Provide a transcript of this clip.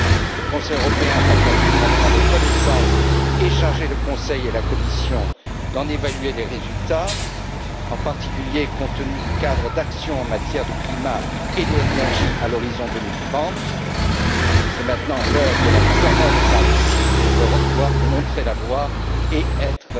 hier. Le Conseil européen va bien sûr en prendre connaissance et charger le Conseil et la Commission d'en évaluer les résultats, en particulier compte tenu du cadre d'action en matière de climat et d'énergie à l'horizon 2030. C'est maintenant l'heure de la mise en œuvre et, là aussi, l'Europe doit également montrer la voie